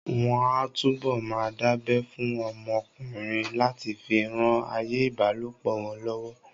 Wọ́n á túbọ̀ máa dábẹ́ fún ọmọ ọkùnrin láti fi ran ayé ìbálòpọ̀ wọn lọ́wọ́